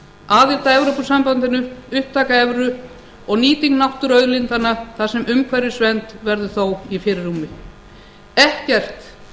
aðild að evrópusambandinu upptaka evru og nýting náttúruauðlindanna þar sem umhverfisvernd verður þó í fyrirrúmi ekkert